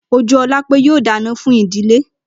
Ojúólapé yóò dáná fún ìdílé.